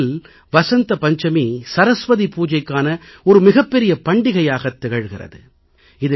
நம் நாட்டில் வசந்த பஞ்சமி சரஸ்வதி பூஜைக்கான ஒரு மிகப்பெரிய பண்டிகையாகத் திகழ்கிறது